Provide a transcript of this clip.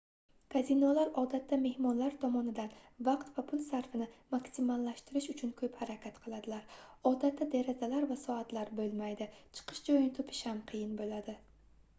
kazinolar odatda mehmonlar tomonidan vaqt va pul sarfini maksimallashtirish uchun koʻp harakat qiladilar odatda derazalar va soatlar boʻlmaydi chiqish joyini topish ham qiyin boʻladi